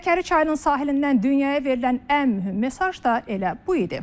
Həkəri çayının sahilində dünyaya verilən ən mühüm mesaj da elə bu idi.